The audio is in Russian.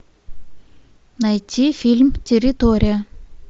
найти фильм территория